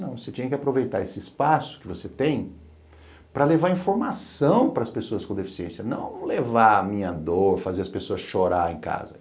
Não, você tinha que aproveitar esse espaço que você tem para levar informação para as pessoas com deficiência, não levar a minha dor, fazer as pessoas chorarem em casa.